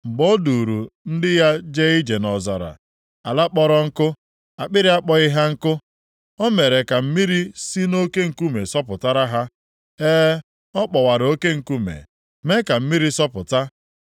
Mgbe O duuru ndị ya jee ije nʼọzara, ala kpọrọ nkụ, akpịrị akpọghị ha nkụ. O mere ka mmiri si nʼoke nkume sọpụtara ha, e, ọ kpọwara oke nkume mee ka mmiri sọpụta.